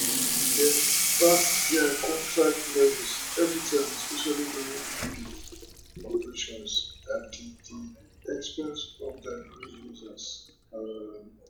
dem pass dia contract levels evritime especially during peak operations at di di expense of oda grid users um